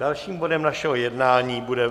Dalším bodem našeho jednání bude